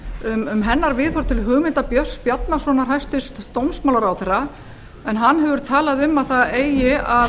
ráðherra um hennar viðhorf til hugmynda björns bjarnasonar hæstvirtur dómsmálaráðherra en hann hefur talað um að það eigi að